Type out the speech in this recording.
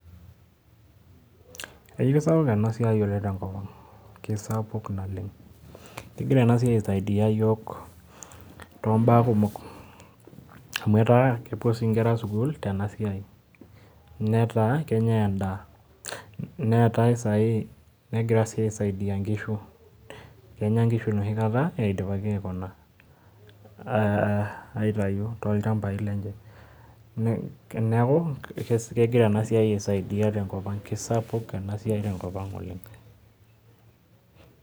Kaisapuk eena siai oleng tenkop ang'. Keisapuk naleng. Kegira eea siai aisaidia iyiok tombaa kumokamuu etaa kepuo sii inkera sukuul teena siai. Netaa kenyae en'daa, negirae sii aisaidia inkishu, kenya inkishu enoshi kata eidipaki aikuna aitayu tolchambai lenye niaku kegira eena siai aisaidia tenkop ang'. Kaisapuk eena siai tenkop ang' oleng.